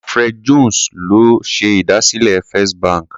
Sir Alfred Jones ló ṣèdásílẹ̀ Fist bank.